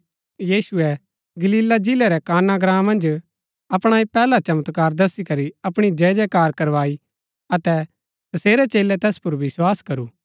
यीशुऐ गलीला जिलै रै काना ग्राँ मन्ज अपणा ऐह पैहला चमत्कार दसी करी अपणी जयजयकार करवाई अतै तसेरै चेलै तैस पुर विस्वास करु